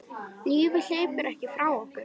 Lífið hleypur ekki frá okkur.